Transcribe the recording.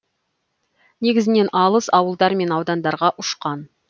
негізінен алыс ауылдар мен аудандарға ұшқан